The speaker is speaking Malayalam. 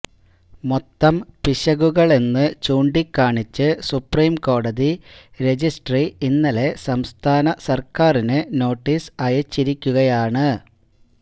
മൊത്തം പിശകുകളെന്ന് ചൂണ്ടിക്കാണിച്ച് സുപ്രിംകോടതി റജിസ്ട്രി ഇന്നലെ സംസ്ഥാന സര്ക്കാരിന് നോട്ടീസ് അയച്ചിരിക്കുകയാണ്